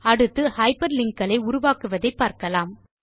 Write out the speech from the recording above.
அடுத்து ஹைப்பர்லிங்க் களை உருவாக்குவதை பார்க்கலாம்